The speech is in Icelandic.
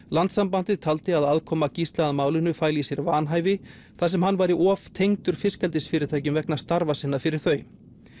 landssambandið taldi að aðkoma Gísla að málinu fæli í sér vanhæfi þar sem hann væri of tengdur fiskeldisfyrirtækjum vegna starfa sinna fyrir þau